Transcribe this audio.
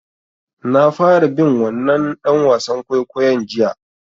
Na fara bin wannan ɗan wasan kwaikwayon jiya.